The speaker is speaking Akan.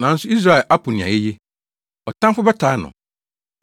Nanso Israel apo nea eye; ɔtamfo bɛtaa no.